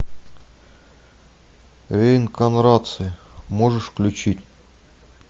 реинкарнация можешь включить